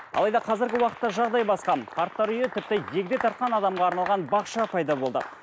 алайда қазіргі уақытта жағдай басқа қарттар үйі тіпті егде тартқан адамға арналған бақша пайда болды